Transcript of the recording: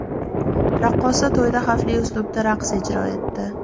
Raqqosa to‘yda xavfli uslubda raqs ijro etdi .